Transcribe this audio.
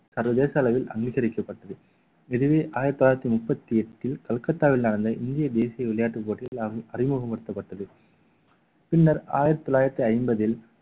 சர்வதேச அளவில் அங்கீகரிக்கப்பட்டது இதுவே ஆயிரத்தி தொள்ளாயிரத்தி முப்பத்தி எட்டில் கல்கத்தாவில் நடந்த இந்திய தேசிய விளையாட்டு போட்டியில் அறிமுக~ அறிமுகப்படுத்தப்பட்டது பின்னர் ஆயிரத்தி தொள்ளாயிரத்தி ஐம்பதில்